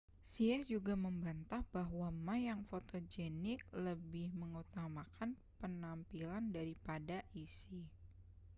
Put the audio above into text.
hsieh juga membantah bahwa ma yang fotogenik lebih mengutamakan penampilan daripada isi